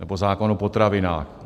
Nebo zákon o potravinách.